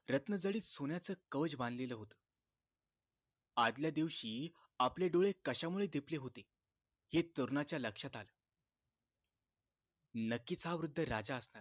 रत्नजडित सोन्याच कवच बांधलेल होत आदल्या दिवशी आपले डोळे कशामुळे दिपले होते हे तरुणाच्या लक्षात आल नक्कीच हा वृद्ध राजा असणार